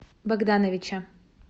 богдановича